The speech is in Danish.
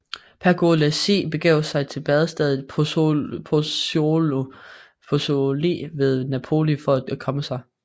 Pergolesi begav sig til badestedet Pozzuoli ved Napoli for at komme sig